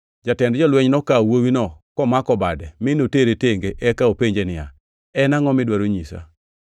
Jatend jolweny nokawo wuowino komako bade, mi notere tenge eka openje niya, “En angʼo midwaro nyisa?”